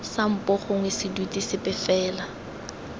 sampo gongwe seduti sepe fela